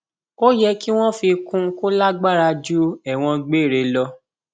ó yẹ kí wọn fi kún un kó lágbára ju ẹwọn gbére lọ